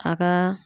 A ka